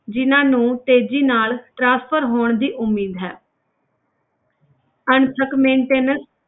ਜਿਹਨਾਂ ਨੂੰ ਤੇਜ਼ੀ ਨਾਲ transfer ਹੋਣ ਦੀ ਉਮੀਦ ਹੈ ਅਣਥਕ maintenance